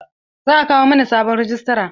Za a kawo mana sabon rajistra.